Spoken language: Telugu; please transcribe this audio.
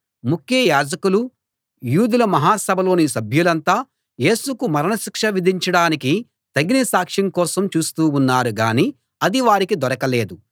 ముఖ్య యాజకులు యూదుల మహా సభలోని సభ్యులంతా యేసుకు మరణశిక్ష విధించడానికి తగిన సాక్ష్యం కోసం చూస్తూ ఉన్నారు గానీ అది వారికి దొరకలేదు